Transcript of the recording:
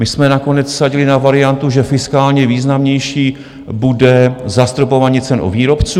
My jsme nakonec vsadili na variantu, že fiskálně významnější bude zastropování cen u výrobců.